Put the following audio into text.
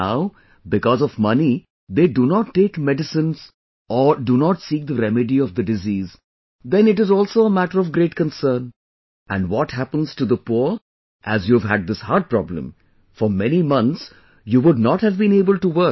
Now, because of money they do not take medicine or do not seek the remedy of the disease then it is also a matter of great concern, and what happens to the poor as you've had this heart problem, for many months you would not have been able to work